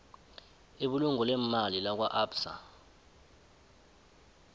ibulungo leemali lakwaabsa